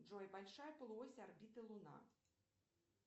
джой большая полуось орбиты луна